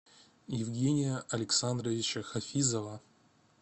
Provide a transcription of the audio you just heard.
евгения александровича хафизова